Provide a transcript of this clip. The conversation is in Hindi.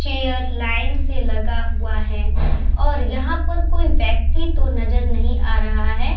चेयर लाइन से लगा हुआ है और यहाँ पर कोई व्यक्ति तो नजर नही आ रहा है ।